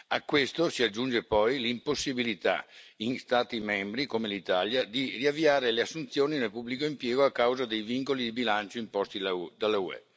A questo si aggiunge poi l'impossibilità in Stati membri come l'Italia, di riavviare le assunzioni nel pubblico impiego a causa dei vincoli di bilancio imposti dall'UE.